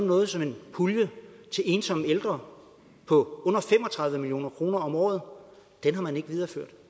noget som en pulje til ensomme ældre på under fem og tredive million kroner om året den har man ikke videreført